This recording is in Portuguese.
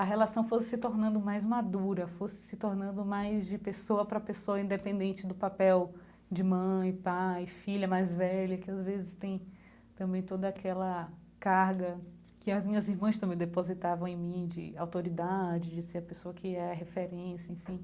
A relação fosse se tornando mais madura, fosse se tornando mais de pessoa para pessoa independente do papel de mãe, pai, filha mais velha, que às vezes tem também toda aquela carga que as minhas irmãs também depositavam em mim de autoridade, de ser a pessoa que é a referência, enfim.